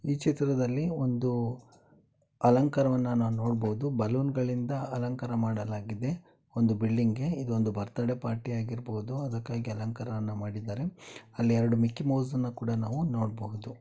ಈ ಚಿತ್ರದಲ್ಲಿ ಒಂದು ಅಲಂಕಾರವನ್ನು ನಾವು ನೋಡಬಹುದು ಬಲೂನ್ಗಳಿಂದ ಅಲಂಕಾರ ಮಾಡಲಾಗಿದೆ ಒಂದು ಬಿಲ್ಡಿಂಗ್ ಗೆ ಇದು ಒಂದು ಬರ್ತ್ಡೇ ಪಾರ್ಟಿ ಆಗಿರ್ಬೋದು ಅದಕ್ಕಾಗಿ ಅಲಂಕಾರವನ್ನು ಮಾಡಿದ್ದಾರೆ ಅಲ್ಲಿ ಎರಡು ಮಿಕ್ಕಿ ಮೌಸ್ ಅನ್ನು ಕೂಡ ನಾವು ನೋಡ್ಬೋದು.